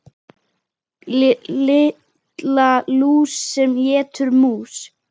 Lilla lús sem étur mús.